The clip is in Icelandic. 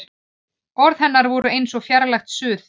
Orð hennar voru eins og fjarlægt suð.